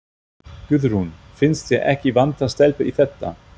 Guðrún: Finnst þér ekki vanta stelpur í þetta?